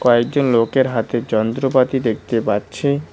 কয়েকজন লোকের হাতে যন্ত্রপাতি দেখতে পাচ্ছি।